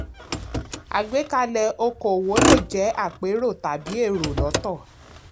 àgbékalẹ̀ okò-òwò le jẹ àpérò tàbí èrò lọ́tọ̀.